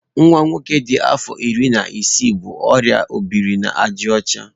Nwa nwoke dị afọ iri na isii bu oria ọ biri na àjà ọcha.